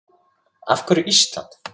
Af hverju Ísland?